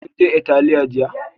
Kin je Atelier jiya?